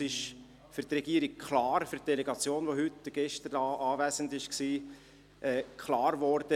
Es ist für die Regierungsdelegation, die gestern und heute hier anwesend war, klar geworden: